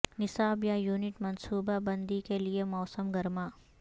نصاب یا یونٹ منصوبہ بندی کے لئے موسم گرما